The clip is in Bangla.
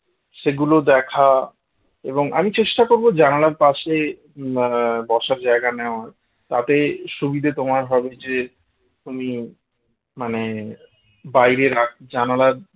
সেগুলো দেখা এবং আমি চেষ্টা করব জানালার পাশে আহ বসার জায়গা নেওয়ার তাতে সুবিধা তোমার হবে যে তুমি মানে বাইরে জানালার